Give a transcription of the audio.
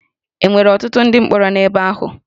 E nwere ọtụtụ ndị mkpọrọ n'ebe ahụ?